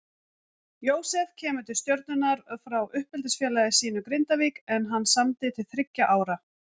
Jósef kemur til Stjörnunnar frá uppeldisfélagi sínu Grindavík en hann samdi til þriggja ára.